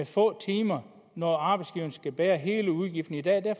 få timer når arbejdsgiverne skal bære hele udgiften i dag